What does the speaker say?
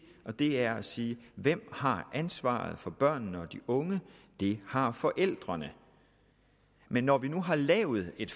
og det er at sige hvem har ansvaret for børnene og de unge det har forældrene men når vi nu har lavet et